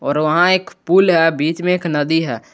और वहां एक पुल है बीच में एक नदी है।